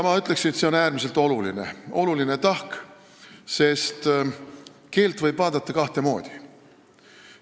Ma ütleks, et see on äärmiselt oluline tahk, sest keelt võib vaadata kahte moodi.